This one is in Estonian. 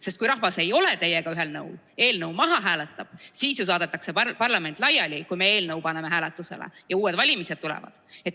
Sest kui rahvas ei ole teiega ühel nõul ja eelnõu maha hääletab, siis saadetakse parlament laiali ja tulevad uued valimised.